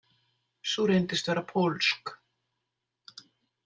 Sú reyndist vera pólsk.